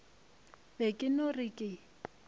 be ke no re ke